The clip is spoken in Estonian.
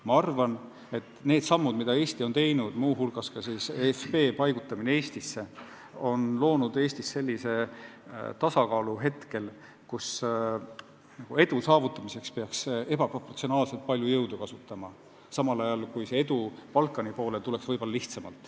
Ma arvan, et need sammud, mida Eesti on teinud, on loonud Eestis sellise tasakaalu, kus edu saavutamiseks peaks ebaproportsionaalselt palju jõudu kasutama, samal ajal kui see edu Balkani suunal tuleks võib-olla lihtsamalt.